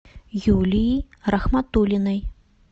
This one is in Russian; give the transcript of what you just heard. юлии рахматулиной